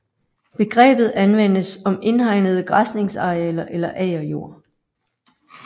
Begrebet anvendes om indhegnede græsningsarealer eller agerjord